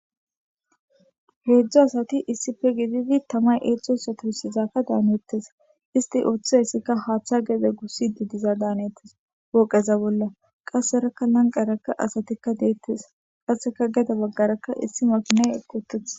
Heedzdo asati issife gididi tamay eetzcosotursizakka daaneettes isti ooththia hessika haaththa gede gussi di diza daanettes wooqeza bolla qasserakka lanqaraka asatikka deettes qasseka geda baggarakka issi makine ekkoteth.